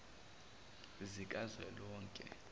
zikazwelonke